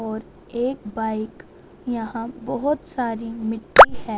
और एक बाइक यहां बहोत सारी मिट्टी है--